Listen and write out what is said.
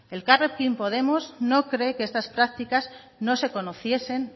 elkarrekin podemos no cree que estas prácticas no se conociesen